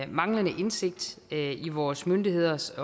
manglende indsigt i vores myndigheders